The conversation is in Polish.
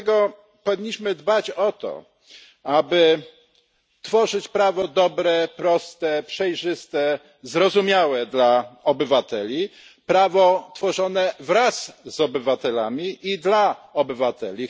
Dlatego powinniśmy dbać o to, aby tworzyć prawo dobre, proste, przejrzyste, zrozumiałe dla obywateli, prawo tworzone wraz z obywatelami i dla obywateli.